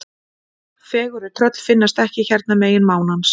Fegurri tröll finnast ekki hérna megin mánans.